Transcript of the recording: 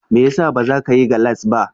Mai yasa bazakayi gallas ba?